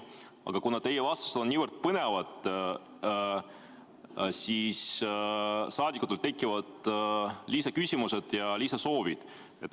Aga kuna teie vastused on nii põnevad, siis saadikutel tekivad lisaküsimused ja lisasoovid.